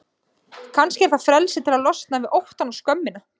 Kannski var það frelsið til að losna við óttann og skömmina.